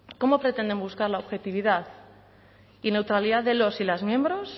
cómo pretenden buscar la objetividad y neutralidad de los y las miembros